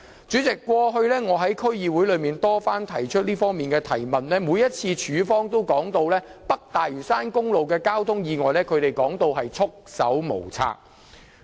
主席，我過去亦曾多次在區議會會議中提出有關質詢，但當局每次也說它們對北大嶼山公路的交通意外是束手無策的。